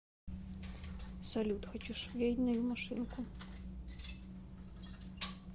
салют хочу швейную машинку